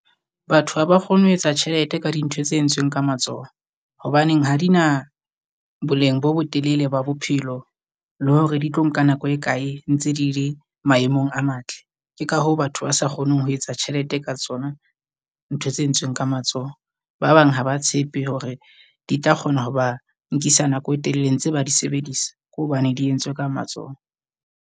Batho ha ba kgone ho etsa tjhelete ka dintho tse entsweng ka matsoho. Hobaneng ha di na boleng bo botelele ba bophelo le hore di tlo nka nako e kae ntse di le maemong a matle. Ke ha hoo batho ba sa kgoneng ho etsa tjhelete ka tsona ntho tse entsweng ka matsoho. Ba bang ha ba tshepe hore di tla kgona ho ba nkisa nako e telele ntse ba di sebedisa, ke hobane di entswe ka matsoho.